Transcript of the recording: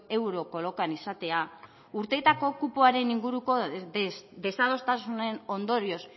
euro kolokan izatea urteetako kupoaren inguruko desadostasunen ondorioz